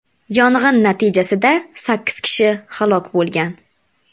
Yong‘in natijasida sakkiz kishi halok bo‘lgan.